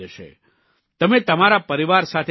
તમે તમારા પરિવાર સાથે ઘરમાં જ રહો